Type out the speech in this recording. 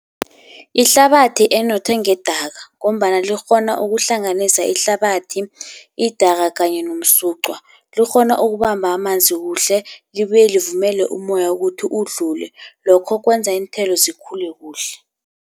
Ihlabathi enothe ngedaka, ngombana likghona ukuhlanganisa ihlabathi, idaka kanye nomsucwa. Likghona ukubamba amanzi kuhle, libuye livumele umoya ukuthi udlule, lokho kwenza iinthelo zikhule kuhle.